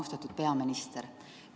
Austatud peaminister!